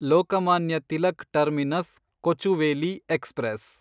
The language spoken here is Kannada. Lokmanya Tilak terminus Kochuveli express